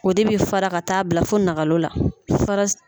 O de bɛ fara ka taa bila fo nakalo la